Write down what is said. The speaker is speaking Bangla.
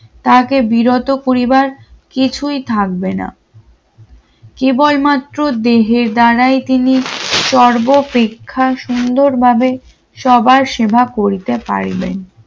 তাকে বিরত পরিবার কিছুই থাকবে না কেবলমাত্র দেহের দ্বারাই তিনি সর্বপ্রেক্ষা সুন্দরভাবে সবার সেবা করতে পারবেন।